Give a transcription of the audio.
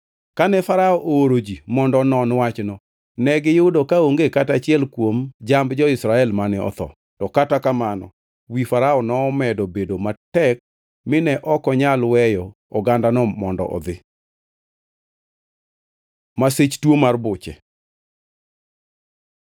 Kane Farao ooro ji mondo onon wachno, to negiyudo kaonge kata achiel kuom jamb jo-Israel mane otho. To kata kamano wi Farao nomedo bedo matek mine ok onyal weyo ogandano mondo odhi. Masich tuo mar buche